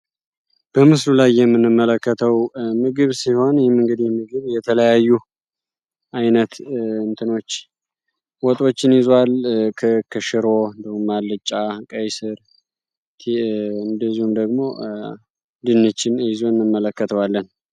በምስሉ ላይ የምንመለከተው ምግብ ሲሆን የተለያዩ አይነት ወጦችን ይዟል ክክ፣ ሽሮ ፣አልጭ፣ ቀይስ እንዲሁም ደግሞ ድንችን ይዞ እንመለከተዋለን።